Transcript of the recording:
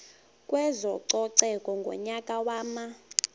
kwezococeko ngonyaka wama